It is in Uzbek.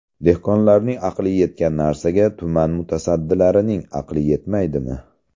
Dehqonlarning aqli yetgan narsaga tuman mutasaddilarining aqli yetmaydimi.